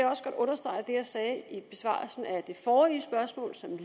også godt understrege det jeg sagde i besvarelsen af det forrige spørgsmål som